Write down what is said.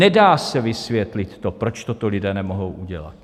Nedá se vysvětlit to, proč toto lidé nemohou udělat.